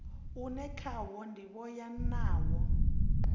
une khawo ndivho ya nila